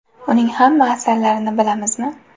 Uning hamma asarlarini bilamizmi?.